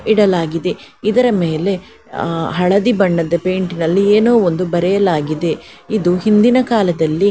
ಇಡಲಾಗಿದೆ ಇದರ ಮೇಲೆ ಹಳದಿ ಬಣ್ಣದ ಪೈಂಟ್ ನಲ್ಲಿ ಏನೋ ಒಂದು ಬರೆಯಲಾಗಿದೆ ಇದು ಹಿಂದಿನ ಕಾಲದಲ್ಲಿ --